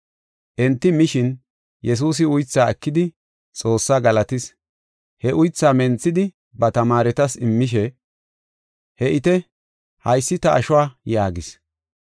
Enti mishin, Yesuusi uythaa ekidi, Xoossaa galatis; he uytha menthidi, ba tamaaretas immishe, “He7ite, haysi ta ashuwa” yaagis.